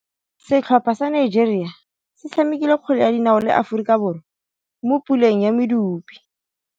Setlhopha sa Nigeria se tshamekile kgwele ya dinaô le Aforika Borwa mo puleng ya medupe.